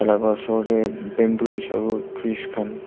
Tailaga osor dae bamboos aro trees khan.